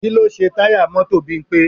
Kí ló ṣe táyà mọ́tò Bímpé?